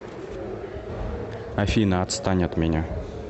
афина отстань от меня